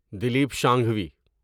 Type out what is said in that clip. Dilip Shanghvi